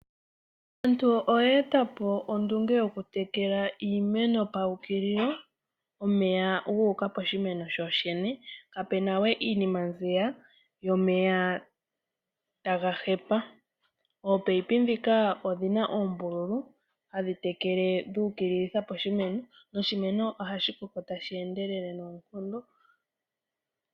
Aantu oyeeta po ondunge yokutekela iimeno pawukililo omeya guuka poshimeno shoshene kapena we iinima mbiya yomeya taga hepa, oopayipi dhika odhina ombululu hadhi tekele dhukililitha poshimeno noshimeno ohashi koko tashi endelele noonkondo.